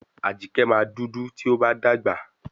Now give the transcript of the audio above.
Ajíkẹ́ máa dúdú tí ó bá dàgbà.